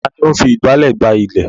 Ta ni ó ń fi ìgbálẹ̀ gbá ilẹ̀?